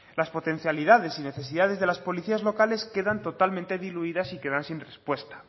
las potencialidades y necesidades de las policías locales quedan totalmente diluidas y quedan sin respuesta